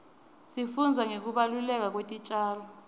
sifundza ngekubaluleka kwetitjalo